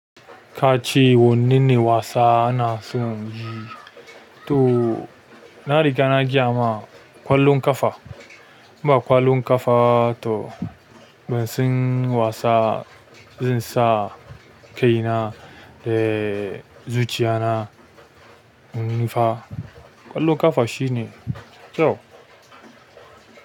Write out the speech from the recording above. Ka ce wanne ne wasa ana son yi? To na riga na gaya ma, ƙwallon ƙafa. Ba ƙwallon ƙafa to ban san wasa zan sa kaina da zuciya na mun nufa. Ƙwallon ƙafa shine, kyau.